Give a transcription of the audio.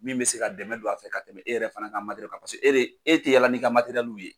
Min bɛ se ka dɛmɛ don a fɛ ka tɛmɛ e yɛrɛ fana ka kan paseke e de e tɛ yala n'i ka ye.